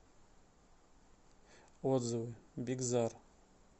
отзывы бигзар